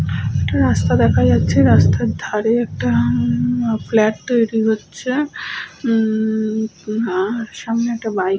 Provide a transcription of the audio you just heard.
একটা রাস্তা দেখা যাচ্ছে। রাস্তার ধারে একটা ম ম ম ফ্ল্যাট তৈরি হচ্ছে। উম -ম সামনে একটা বাইক ।